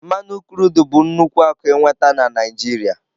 mmanụ krudụ bụ nnukwu akụ ịnweta na Naijiria.